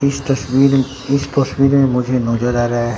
इस तस्वीर इस तस्वीर में मुझे नजर आ रहा है।